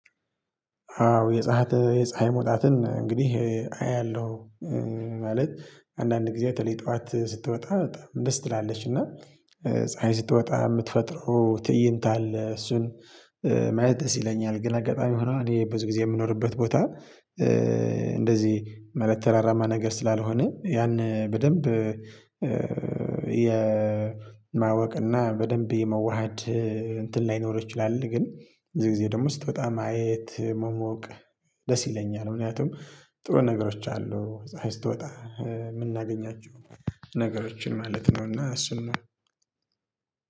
አዎ የፀሀይ የፀሀይ መውጣትን እንግዲህ አያለሁ። ማለት አንዳንድ ጊዜ በተለይ ጠዋት ስትወጣ ደስ ትላለች እና ፀሀይ ስትወጣ የምትፈጥረው ትእይት አለ እሱን ማየት ደስ ይለኛል። ግን አጋጣሚ ሆኖ እኔ ብዙ ጊዜ የምኖርበት ቦታ እንደዚህ ማለተ ተራራማ ነገር ስላልሆነ ያን በደንብ የማወቅ በደንብ የመዋሃድ እንትን ላይኖር ይችላል። ግን ብዙ ጊዜ ደግሞ ስትወጣ ማየት መሞቅ ደስ ይለኛል። ምክንያቱም ጥሩ ነገሮች አሉ ፀሀይ ስትወጣ የምናገኛቸው ነገሮችን ማለት ነው። እና እሱን ነው።